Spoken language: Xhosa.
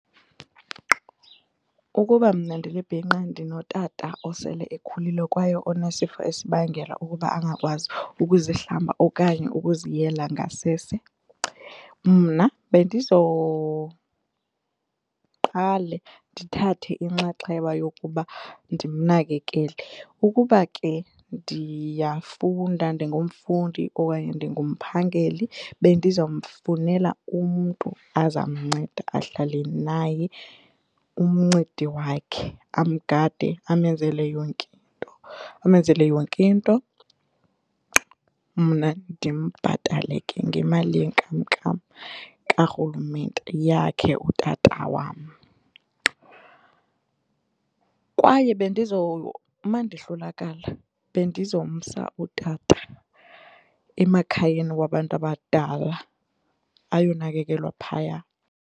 Ukuba mna ndilibhinqa ndinotata osele ekhulile kwaye onesifo esibangela ukuba angakwazi ukuzihlamba okanye ukuziyela ngasese mna bendizoqale ndithathe inxaxheba yokuba ndimnakekele. Ukuba ke ndiyafunda ndingumfundi okanye ndingumphangeli bendizawumfunela umntu azamnceda ahlale naye umncedi wakhe amgade amenzele yonke into, amenzele yonke into, mna ndimbhatale ke ngemali yenkamnkam kaRhulumente yakhe utata wam. Kwaye mandihlulakala bendizomsa utata emakhayeni wabantu abadala ayonakekelwa phaya.